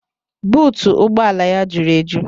Buutu ụgbọ ala ya jụrụ eju